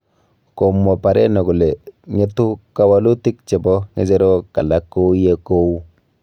Komwa Pareno kole, ng'etu kawalutik chebo ng'echerok alak kou ye kou